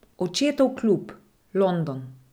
Očetov klub, London.